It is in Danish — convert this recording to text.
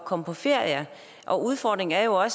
komme på ferie og udfordringen er jo at